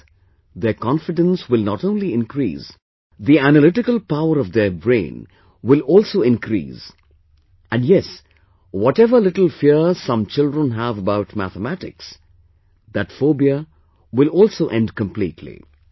With this, their confidence will not only increase; the analytical power of their brain will also increase and yes, whatever little fear some children have about Mathematics, that phobia will also end completely